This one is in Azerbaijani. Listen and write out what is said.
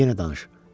Yenə danış.